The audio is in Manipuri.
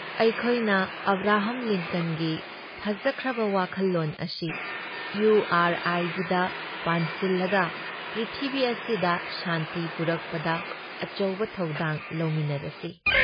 ꯑꯩꯈꯣꯏꯅ ꯑꯕ꯭ꯔꯥꯍꯝ ꯂꯤꯟꯀꯟꯒꯤ ꯐꯖꯈ꯭ꯔꯕ ꯋꯥꯈꯜꯂꯣꯟ ꯑꯁꯤ ꯏꯌꯨ ꯑꯥꯔ ꯑꯥꯏꯒꯤꯗ ꯄꯥꯟꯁꯤꯜꯂꯒ ꯄ꯭ꯔꯤꯊꯤꯕꯤ ꯑꯁꯤꯗ ꯁꯥꯟꯇꯤ ꯄꯨꯔꯛꯄꯗ ꯑꯆꯧꯕ ꯊꯧꯗꯥꯡ ꯂꯧꯃꯤꯟꯅꯔꯁꯤ ꯫